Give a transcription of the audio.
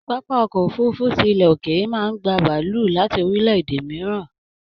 Pápá ọkọ òfurùnfu tí ilẹ ókéré máa n gbà bàálù láti orílẹ̀-èdè mìíràn.